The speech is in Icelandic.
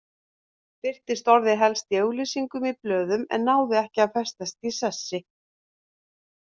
Birtist orðið helst í auglýsingum í blöðum en náði ekki að festast í sessi.